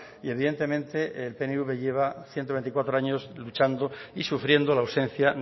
y evidentemente el pnv lleva ciento veinticuatro años luchando y sufriendo la ausencia